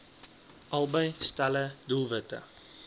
albei stelle doelwitte